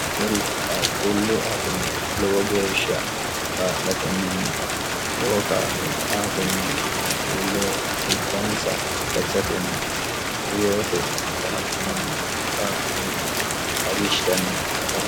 Kuri qaaquullu hakime lowo geeshsha kaa'latenninna lowo kaa'lo aatenni qaaquulleho dhibbansa gatisatenni reyoote qixxaabbanni qaaqquulle ajishshanni afantanno.